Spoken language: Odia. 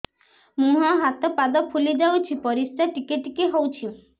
ମୁହଁ ହାତ ପାଦ ଫୁଲି ଯାଉଛି ପରିସ୍ରା ଟିକେ ଟିକେ ହଉଛି